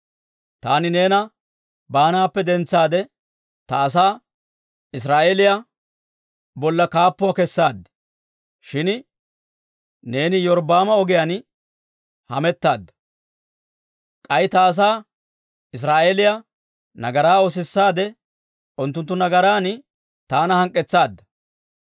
«Taani neena baanaappe dentsaade ta asaa Israa'eeliyaa bolla kaappuwaa kessaad; shin neeni Iyorbbaama ogiyaan hamettaadda. K'ay ta asaa Israa'eeliyaa nagaraa oosissaade, unttunttu nagaran taana hank'k'etsaadda.